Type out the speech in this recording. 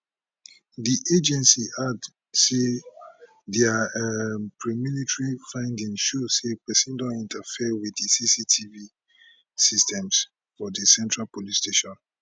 di agency add say dia um premilitary findings show say pesin don interfere wit di cctv systems for di central police station